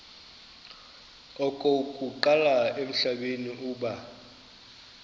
okokuqala emhlabeni uba